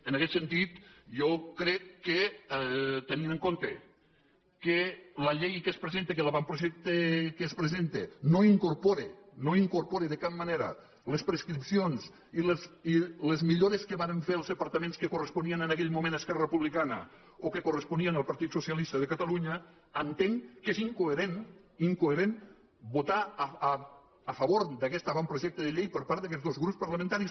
en aguest sentit jo crec que tenint en compte que la llei que es presenta que l’avantprojecte que es presenta no incorpora de cap manera les prescripcions i les millores que varen fer els departaments que corresponien en aguell moment a esquerra republicana o que corresponien al partit socialista de catalunya entenc que és incoherent incoherent votar a favor d’aguest avantprojecte de llei per part d’aguests dos grups parlamentaris